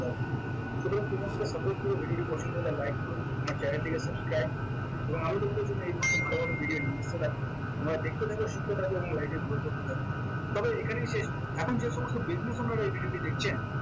so friend তুমি আমাকে support করো video পছন্দ হলে like করো আমার channel টিকে subscribe করো এবং আমি তোমাদের যদি এই ধরণের ভালো ভালো video নিয়ে আসতে থাকি তোমরা দেখতে থাকো শিখতে থাকো এবং like এর grow করতে থাকো তবে এখানেই শেষ নয় এখন যেসমস্ত business আপনারা এই video টিতে দেখছেন